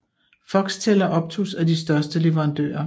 Foxtel og Optus er de største leverandører